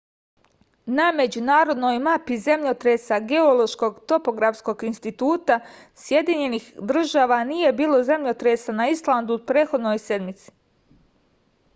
na međunarodnoj mapi zemljotresa geološkog topografskog instituta sjedinjenih država nije bilo zemljotresa na islandu u prethodnoj sedmici